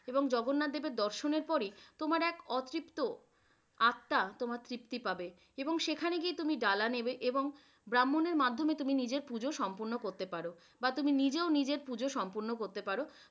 এবং জগন্নাথ দেবের দর্শনের পরেই তোমার এক অতৃপ্ত আত্মা তোমার তৃপ্তি পাবে, এবং সেখানে গিয়ে তুমি ডালা নিবে এবং ব্রাহ্মণের মাধ্যমে তুমি নিজের পুঁজ সম্পূর্ণ করতে পারো বা তুমি নিজেও নিজের পূজ সম্পূর্ণ করতে পারো।